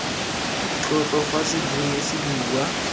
tlotlo fa sebui se bua